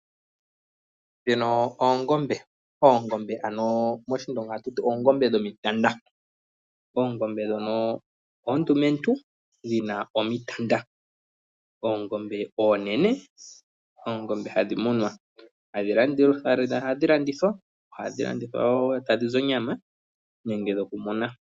Dhino oongombe ano moshindonga atu ti oongombe dhomitanda. Oongombe dhono oondumentu dhina oomitanta. Oongombe oonene, oongombe hadhi munwa hadhi landithwa. Ohadhi landithwa wo tadhi zi onyama nenge dhoku muna.